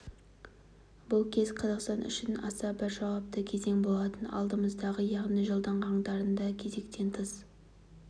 бұл кез қазақстан үшін аса бір жауапты кезең болатын алдымызда яғни жылдың қаңтарында кезектен тыс